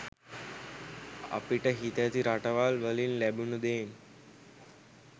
අපිට හිතැති රටවල් වලින් ලැබුන දේන්